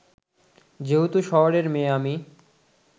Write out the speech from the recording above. যেহেতু শহরের মেয়ে আমি